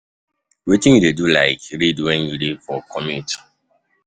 Wetin you dey you dey like read when you dey for commute?